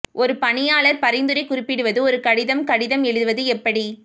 ஒரு பணியாளர் பரிந்துரை குறிப்பிடுவது ஒரு கடிதம் கடிதம் எழுதுவது எப்படி